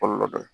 Kɔlɔlɔ dɔ ye